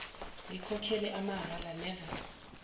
ngikhokhele amahhala never